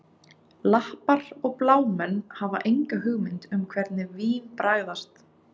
Lappar og blámenn hafa enga hugmynd um hvernig vín bragðast